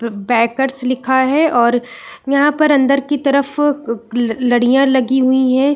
ब-बेकर्स लिखा हैं और यहाँ पर अंदर की तरफ क लड़ियाँ लगी हुई हैं।